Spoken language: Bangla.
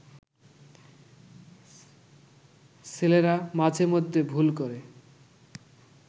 ছেলেরা মাঝে মধ্যে ভুল করে